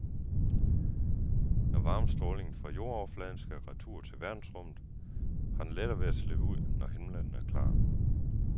Når varmestrålingen fra jordoverfladen skal retur til verdensrummet, har den lettere ved at slippe ud, når himlen er klar.